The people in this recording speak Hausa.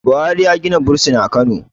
buhari ya Gina bursin a Kano